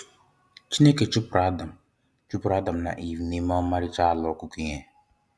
Chineke chụpụrụ Adam chụpụrụ Adam na Eve n'ime ọmarịcha ala okụkụ ihe.